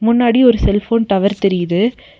முன்னாடி ஒரு cell phone tower தெரியிது.